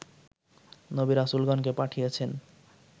নবী রাসূলগণকে পাঠিয়েছেন